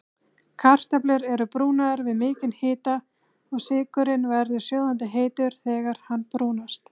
Kartöflur eru brúnaðar við mikinn hita og sykurinn verður sjóðandi heitur þegar hann brúnast.